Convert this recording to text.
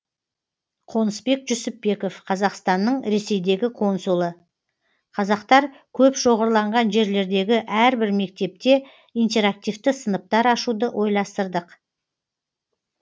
қонысбек жүсіпбеков қазақстанның ресейдегі консулы қазақтар көп шоғырланған жерлердегі әрбір мектепте интерактивті сыныптар ашуды ойластырдық